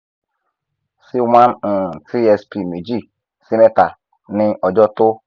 one of two si one um tsp meji si mẹta ni ọjọ to